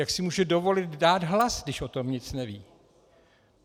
Jak si může dovolit dát hlas, když o tom nic neví?